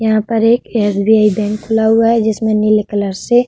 यहाँ पर एक एस.बी.आई. बैंक खुला हुआ है जिसमें नीले कलर से --